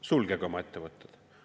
Sulgege oma ettevõtted.